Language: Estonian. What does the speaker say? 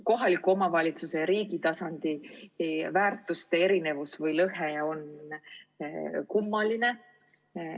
Kohaliku omavalitsuse ja riigi tasandi väärtushinnangute erinevus või lõhe on kummaline.